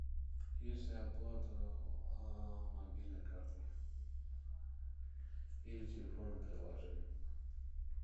есть ли оплата мобильной картой или телефонным приложением